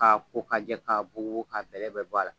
K'a ko ka jɛ ka bugubugu ka bɛlɛ bɛ bɔ a la